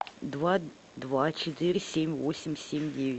два два четыре семь восемь семь девять